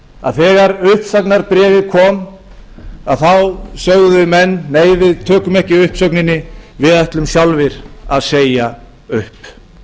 að þegar uppsagnarbréfið kom þá sögðu menn nei við tökum ekki uppsögninni við ætlum sjálfir að segja upp